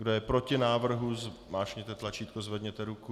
Kdo je proti návrhu, zmáčkněte tlačítko, zvedněte ruku.